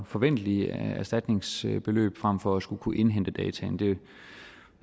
forventelige erstatningsbeløb frem for at skulle kunne indhente data